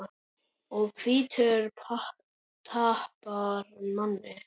Og hvítur tapar manni.